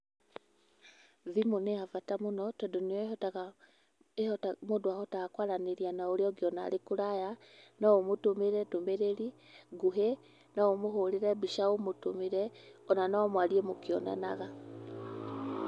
Thimũ nĩ ya bata mũno tondũ nĩyo ĩhotaga, mũndũ ahotaga kwaranĩria na ũrĩa ũngĩ ona arĩ kũraya, no ũmũtũmĩre ndũmĩrĩri nguhĩ, no ũmũhũrĩre mbica ũmũtũmĩre,o na no mwarie mũkĩonanaga.